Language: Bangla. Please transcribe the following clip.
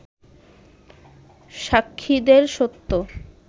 সাক্ষীদের সত্য